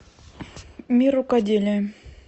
мир рукоделия